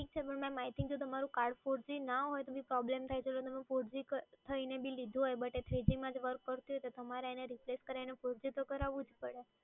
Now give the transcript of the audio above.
ઠીક છે, madam. I think જો તમારું કાર્ડ four g ના હોય, તો તમને પ્રોબ્લેમ થાય, તો તમે four g થઈને બી લીધું હોય, but એ three g માં જ work કરતું હોય, તો તમારે એને replace કરાઈને four g તો કરાવું જ પડે.